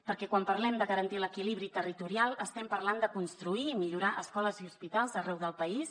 perquè quan parlem de garantir l’equilibri territorial estem parlant de construir i millorar escoles i hospitals arreu del país